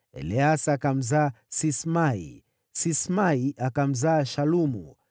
Eleasa akamzaa Sismai, Sismai akamzaa Shalumu,